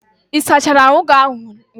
Ị sachara ahụ ụnyahụ?